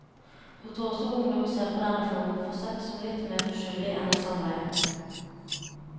Hun tror også ungdom ser på denne formen for sex som litt mer uskyldig enn et samleie.